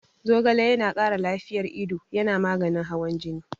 Zogale yana ƙara lafiyar ido, yana maganin hawan jini.